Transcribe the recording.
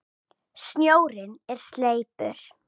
Snjórinn er sleipur!